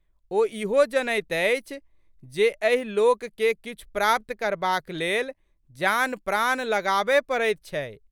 ओ ईहो जनैत अछि जे एहि लोकके किछु प्राप्त करबाक लेल जानप्राण लगाबए पड़ैत छै।